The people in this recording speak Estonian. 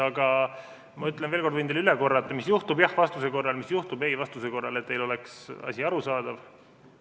Aga ma võin teile üle korrata, mis juhtub jah-vastuse korral, mis juhtub ei-vastuse korral, et teile oleks asi arusaadav.